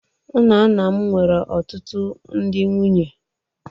Nna nna m nwere ọtụtụ ndị nwunye.